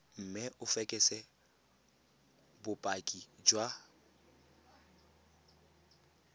mme o fekese bopaki jwa